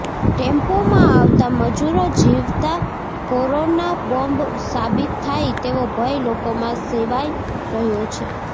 ટેમ્પોમાં આવતા મજૂરો જીવતા કોરોના બોમ્બ સાબિત થાય તેવો ભય લોકોમાં સેવાય રહ્યો છે